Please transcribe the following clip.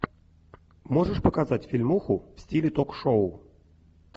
можешь показать фильмуху в стиле ток шоу